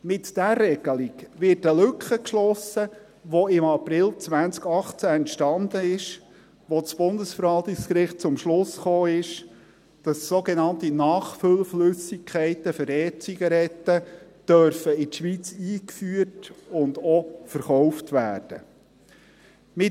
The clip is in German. Mit dieser Regelung wird eine Lücke geschlossen, welche im April 2018 entstanden ist, als das Bundesverwaltungsgericht zum Schluss kam, dass sogenannte Nachfüllflüssigkeiten für E- Zigaretten in die Schweiz eingeführt und auch verkauft werden dürfen.